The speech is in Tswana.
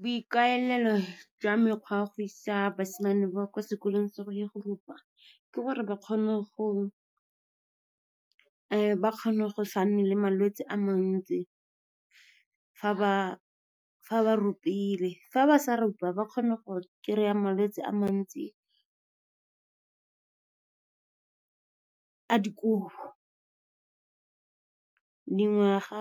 Boikaelelo jwa mekgwa ya go isa basimane ba kwa sekolong se go ya go rupa ke gore ba kgone go sa nne le malwetse a mantsi fa ba rupile. Fa ba sa rupa, ba kgona go kry-a malwetse a mantsi a dikobo. Dingwaga ,